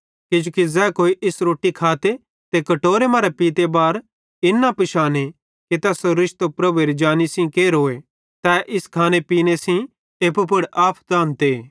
किजोकि ज़ै इस रोट्टी खाते ते कटोरे मरां पीते बार इन न पिशाने कि तैसेरो रिश्तो प्रभुएरी जानी सेइं केरोए तै इस खाने पीने सेइं एप्पू पुड़ आफत आनते